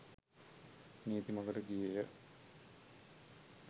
නීති මඟට ගියේය.